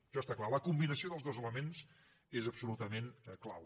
això està clar la combinació dels dos elements és absolutament clau